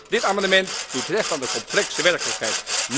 Dit amendement doet recht aan de complexe werkelijkheid.